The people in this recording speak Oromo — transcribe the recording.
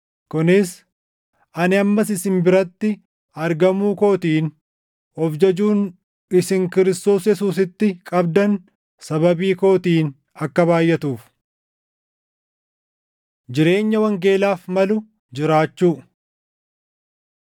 Kunis ani ammas isin biratti argamuu kootiin of jajuun isin Kiristoos Yesuusitti qabdan sababii kootiin akka baayʼatuuf. Jireenya Wangeelaaf Malu Jiraachuu